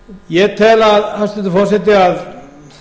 ég tel hæstvirtur forseti að